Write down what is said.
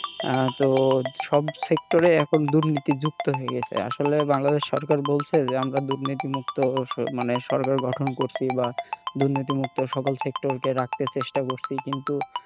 আহ তো সব sector এ এখন দুর্নীতি যুক্ত হয়ে গেছে আসলে বাংলাদেশ সরকার বলছে যে আমরা দুর্নীতিমুক্ত মানে সরকার গঠন করছি বা দুর্নীতিমুক্ত সকল sector কে রাখতে চেষ্টা করছি কিন্তু,